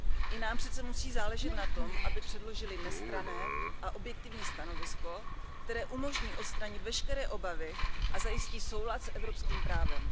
I nám přece musí záležet na tom, aby předložily nestranné a objektivní stanovisko, které umožní odstranit veškeré obavy a zajistí soulad s evropským právem.